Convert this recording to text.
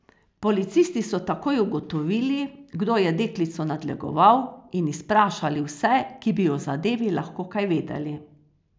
Policisti so takoj ugotovili, kdo je deklico nadlegoval, in izprašali vse, ki bi o zadevi lahko kaj vedeli.